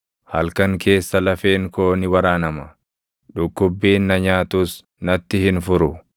Halkan keessa lafeen koo ni waraanama; dhukkubbiin na nyaatus natti hin furu.